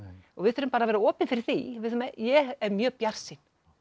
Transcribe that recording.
og við þurfum bara að vera opin fyrir því ég er mjög bjartsýn